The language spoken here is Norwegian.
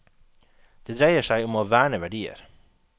Det dreier seg om å verne verdier.